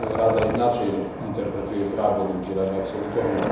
Rada inaczej interpretuje prawo do udzielania absolutorium.